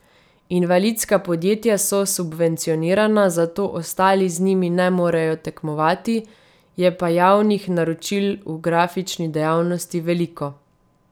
Invalidska podjetja so subvencionirana, zato ostali z njimi ne morejo tekmovati, je pa javnih naročil v grafični dejavnosti veliko.